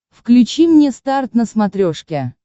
включи мне старт на смотрешке